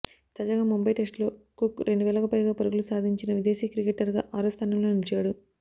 తాజాగా ముంబై టెస్టులో కుక్ రెండువేలకు పైగా పరుగులు సాధించిన విదేశీ క్రికెటర్గా ఆరో స్ధానంలో నిలిచాడు